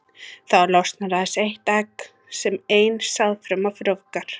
Þá losnar aðeins eitt egg sem ein sáðfruma frjóvgar.